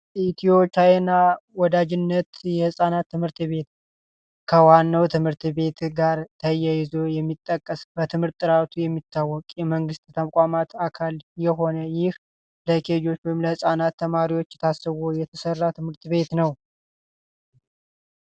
ኢትዮ ቻይና ወዳጅነት የህፃናት ትምህርት ቤት ከዋናው ትምህርት ቤት ጋር ተያይዞ የሚጠቀስ ጥራቱ የሚታወቅ አንድ አካል የሆነ ይህ ለኬጅ ተማሪዎች ታስቦ የተሰራ ትምህርት ቤት ነው።